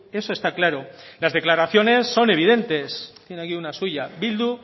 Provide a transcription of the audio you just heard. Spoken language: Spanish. eso está claro las declaraciones son evidentes tiene aquí una suya bildu